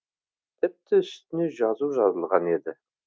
тіпті үстіне жазу жазылған еді